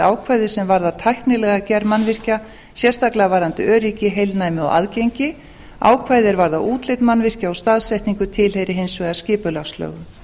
ákvæði sem varða tæknilega gerð mannvirkja sérstaklega varðandi öryggi heilnæmi og aðgengi ákvæði er varða útlit mannvirkja og staðsetningu tilheyra hins vegar skipulagslögum